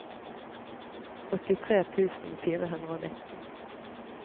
åttitre tusen fire hundre og nitten